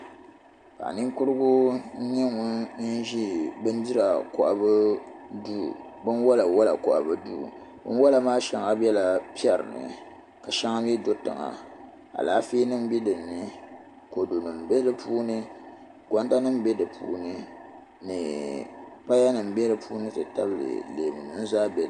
Paɣaninkurigu n nye ŋun ʒe bindira kɔhibu duu binwala wala kɔhibu duu binwala maa biɛla piɛrini ka shɛŋa mi do tiŋa alaafeenim be din ni kodunim be di puuni gondanim be di puuni ni payanim be di puuni ti tabili leemu nim zaa be di.